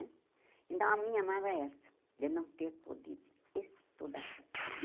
Então, a minha mágoa é essa, de não ter podido estudar.